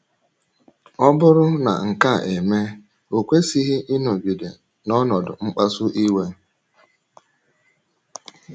Ọ bụrụ na nke a emee, o kwesịghị ịnọgide “ n’ọnọdụ mkpasu iwe. ”